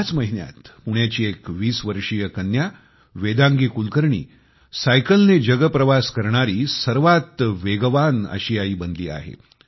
ह्याच महिन्यात पुण्याच्या एका 20 वर्षीय कन्या वेदांगी कुलकर्णी सायकलने जगप्रवास करणारी सर्वात वेगवान आशियाई बनली आहे